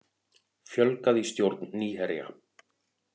Fjölgað í stjórn Nýherja